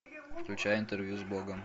включай интервью с богом